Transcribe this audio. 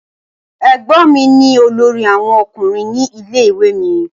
Ẹ̀gbọ́n mi ni olórí àwọn Ọkùnrin ní ilé ìwé mi.